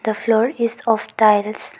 The floor is of tiles.